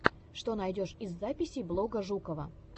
что найдешь из записей блога жукова